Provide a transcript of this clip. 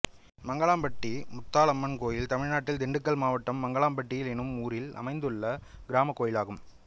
மங்கலாம்பட்டி முத்தாலம்மன் கோயில் தமிழ்நாட்டில் திண்டுக்கல் மாவட்டம் மங்கலாம்பட்டி என்னும் ஊரில் அமைந்துள்ள கிராமக் கோயிலாகும்